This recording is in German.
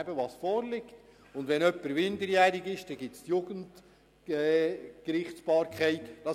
Wenn es sich um einen Minderjährigen handelt, ist die Jugendgerichtsbarkeit zuständig.